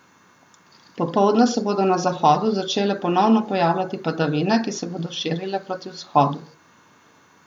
Popoldne se bodo na zahodu začele ponovno pojavljati padavine, ki se bodo širile proti vzhodu.